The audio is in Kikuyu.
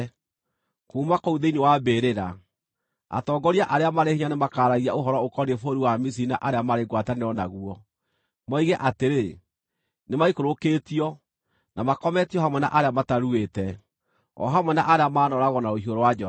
Kuuma kũu thĩinĩ wa mbĩrĩra, atongoria arĩa marĩ hinya nĩmakaaragia ũhoro ũkoniĩ bũrũri wa Misiri na arĩa marĩ ngwatanĩro naguo, moige atĩrĩ, ‘Nĩmaikũrũkĩtio, na makometio hamwe na arĩa mataruĩte, o hamwe na arĩa maanooragwo na rũhiũ rwa njora.’